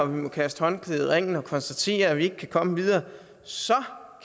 vi må kaste håndklædet i ringen og konstatere at vi ikke kan komme videre så